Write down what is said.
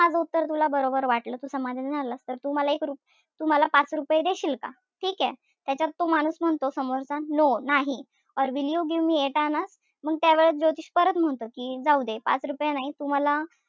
माझं उत्तर तुला बरोबर वाटलं, समाधान मिळालं. तर तू मला एक रु तू मला पाच रुपये देशील का? ठीकेय? त्याच्यात तो माणूस म्हणतो समोरचा no नाही. Will you give me eight anna? मंग त्यावेळेस ज्योतिष परत म्हणतो कि जाऊदे. पाच रुपये नाही तू मला,